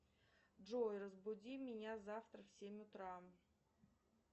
джой разбуди меня завтра в семь утра